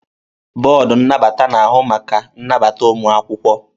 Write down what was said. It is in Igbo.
Bọọdụ nnabata na-ahụ maka nnabata ụmụ akwụkwọ.